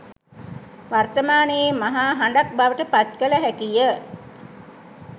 වර්මානයේ මහා හඬක් බවට පත් කළ හැකිය.